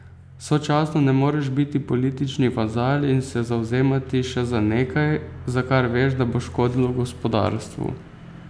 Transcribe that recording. Sočasno ne moreš biti politični vazal in se zavzemati še za nekaj, za kar veš, da bo škodilo gospodarstvu.